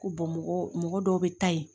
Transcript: Ko mɔgɔ dɔw bɛ taa ye